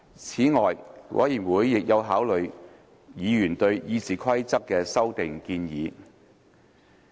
此外，委員會亦有考慮議員對《議事規則》的修訂建議。